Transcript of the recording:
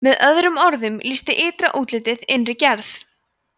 með öðrum orðum lýsti ytra útlitið innri gerð